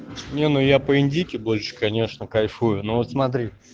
не ну я по-индийки больше конечно кайфую ну вот смотри